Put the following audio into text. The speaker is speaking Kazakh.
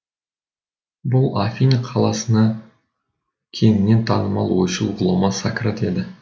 бұл афины қаласына кеңінен танымал ойшыл ғұлама сократ еді